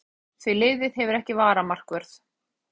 Þá voru góð ráð dýr því liðið hefur ekki varamarkvörð.